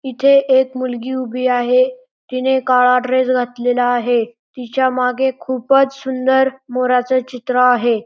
इथे एक मुलगी उभी आहे तिने काळा ड्रेस घातलेला आहे तिच्या मागे खूपच सुंदर मोराच चित्र आहे.